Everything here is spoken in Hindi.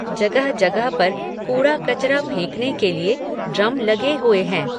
जगह जगह पर, कूड़ा कचरा फेंकने के लिये, ड्रम लगे हुए हैं